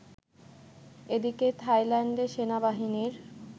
এদিকে থাইল্যান্ডে সেনাবাহিনীর